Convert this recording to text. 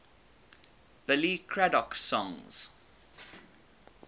billy craddock songs